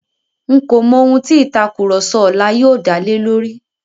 N̄ kò mọ ohun tí ìtàkurọ̀sọ ọlá yóò dá lé lórí.